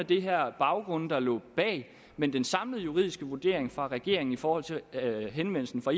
de her baggrunde der lå bag men den samlede juridiske vurdering fra regeringen i forhold til henvendelsen fra